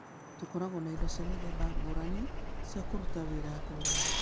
Tũkoragwo na indo cia mĩthemba ngũrani cia kũruta wĩra ngũrani.